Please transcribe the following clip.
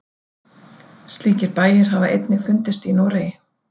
Slíkir bæir hafa einnig fundist í Noregi.